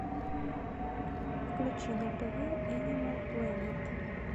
включи на тв энимал плэнет